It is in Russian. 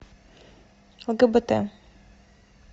лгбт